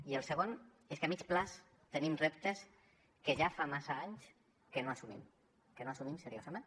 i el segon és que a mitjà termini tenim reptes que ja fa massa anys que no assumim que no assumim seriosament